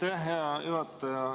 Aitäh, hea juhataja!